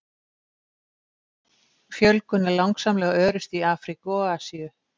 Fjölgun er langsamlega örust í Afríku og Asíu.